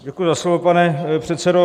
Děkuji za slovo, pane předsedo.